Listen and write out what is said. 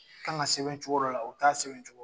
Kan ka sɛbɛn cogo dɔla o t'a sɛbɛn cogo